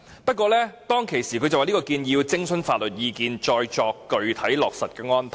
不過，當時他說這項建議要徵詢法律意見，再作具體落實的安排。